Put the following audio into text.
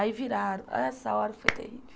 Aí viraram, essa hora foi terrível.